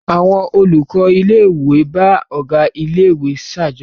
Àwọn olùkọ́ ilé-ìwé bá ọ̀gá ilé-ìwé ṣàjọyọ̀.